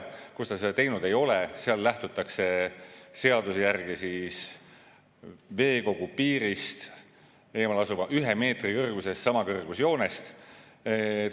Seal, kus ta seda teinud ei ole, lähtutakse seaduse järgi ühe meetri kõrgusest samakõrgusjoonest.